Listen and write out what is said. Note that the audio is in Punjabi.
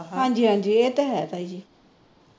ਹਾਜੀ ਹਾਜੀ ਇਹ ਤਾਂ ਹੈ ਤਾਈ ਜੀ